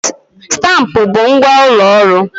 Stampụ bụ ngwa ụlọ ọrụ.